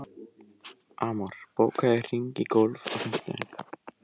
Amor, bókaðu hring í golf á fimmtudaginn.